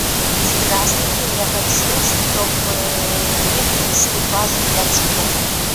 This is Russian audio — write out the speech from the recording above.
здравствуйте я хочу чтобы мне принесли вазу для цветов